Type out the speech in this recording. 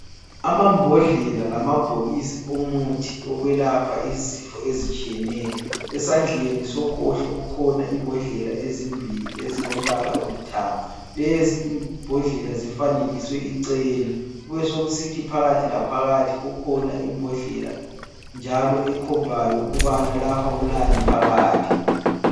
Amambodlela lamabhokisi omuthi okwelapha izifo ezitshiyeneyo, esandleni sokhohlo kukhona imbodlela ezimbili ezilombala olithanga. Lezi imbodlela zifanekiswe ichena kubesekusithi phakathi laphakathi kukhona imbodlela njalo ekhombayo ukubana lapha kulani phakathi.